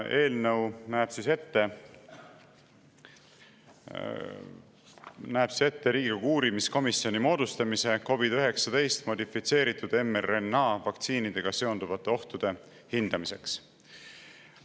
Eelnõu näeb ette Riigikogu uurimiskomisjoni moodustamise COVID‑19 modifitseeritud mRNA vaktsiinidega seonduvate ohtude hindamiseks.